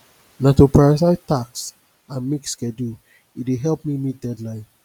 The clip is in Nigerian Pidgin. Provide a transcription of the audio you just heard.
na to prioritize tasks and make schedule e dey help me meet deadline